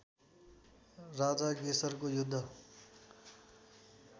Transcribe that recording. राजा गेसरको युद्ध